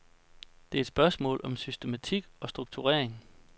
Det er et spørgsmål om systematik og strukturering.